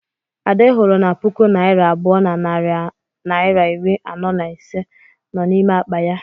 Ade hụrụ na puku naira abụọ na narị naịra iri anọ na ise nọ n'ime akpa ya.